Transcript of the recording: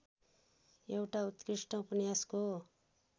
एउटा उत्कृष्ट उपन्यासको